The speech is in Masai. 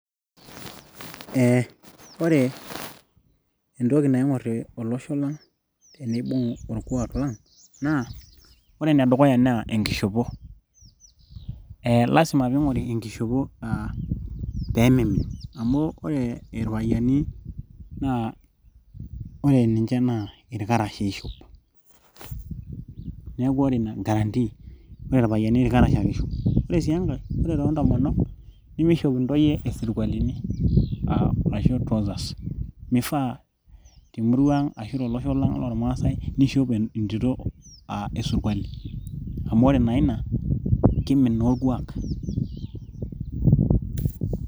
Ee ore entoki naing'or olosho lang teneibung orkuak lang naa ore enedukuya naa enkishopo ee lazima peing'ori enkishopo aa peemeimin amu ore ee irpayiani naa ore ninche naa irkarash eshop neeku ore ina guarantee ore irpayiani irkarash ake eishop ore sii enkae ore toontomonok nimishop intoyie isirkualini aa ashuu trousers meifaa temurua ang ashuu tolosho lang loormaasae nishop entito aa esurkuali amu ore naa ina kimin naa orkuak.